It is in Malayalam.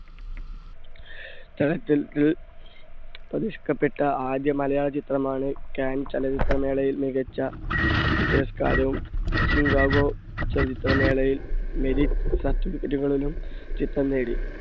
ആദ്യ മലയാള ചിത്രമാണ് കാൻസ് ചലച്ചിത്ര മേളയിൽ മികച്ച പുരസ്‌കാരവും, ഷിക്കാഗോ ചലച്ചിത്ര മേളയിൽ merit certificate കളും ചിത്രം നേടി.